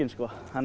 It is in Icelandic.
þannig